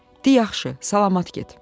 De, yaxşı, salamat get."